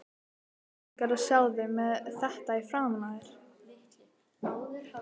Skelfing er að sjá þig með þetta framan í þér!